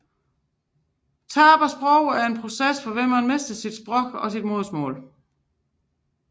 Sprogtab er processen hvorved man mister et sprog som modersmål